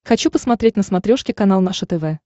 хочу посмотреть на смотрешке канал наше тв